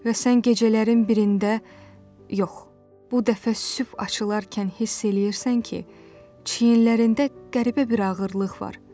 Və sənin gecələrin birində, yox, bu dəfə sübh açılarkən hiss eləyirsən ki, çiyinlərində qəribə bir ağırlıq var.